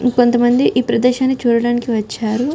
ఇంకొంత మంది ఈ ప్రదేశాన్ని చూడడానికి వచ్చారు.